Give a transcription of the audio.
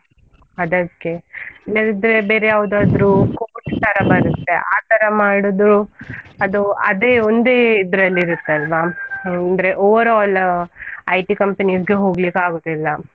ಅದಕ್ಕೆ, ಇಲ್ಲದಿದ್ರೆ ಬೇರೆ ಯಾವ್ದಾದ್ರು course ತರ ಬರುತ್ತೆ ಆತರ ಮಾಡುದು ಅದು ಅದೇ ಒಂದೇ ಇದ್ರಲ್ಲಿ ಇರುತ್ತಲ್ಲ, ಅಂದ್ರೆ overall IT companies ಗೆ ಹೋಗ್ಲಿಕ್ಕೆ ಆಗುದಿಲ್ಲ.